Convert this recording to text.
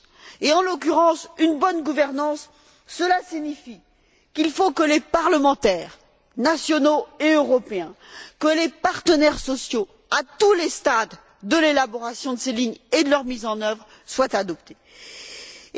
Et en l'occurrence, une bonne gouvernance cela signifie qu'il faut que les parlementaires nationaux et européens, que les partenaires sociaux, à tous les stades de l'élaboration de ces lignes et de leur mise en œuvre, soient consultés.